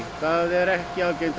það ekki algengt